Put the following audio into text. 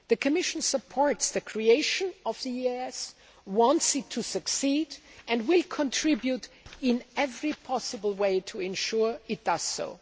The Commission supports the creation of the EEAS, wants it to succeed, and will contribute in every way possible to ensure that it does so.